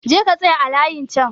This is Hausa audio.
Je ka tsaya a layin chan!